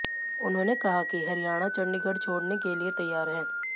उन्होंने कहा कि हरियाणा चंडीगढ़ छोड़ने के लिये तैयार है